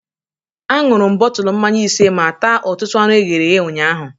Aṅụrụ m bọtụlụ mmanya ise ma taa ọtụtụ anụ eghere eghe ụnyaahụ.